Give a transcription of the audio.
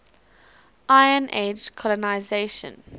iron age colonisation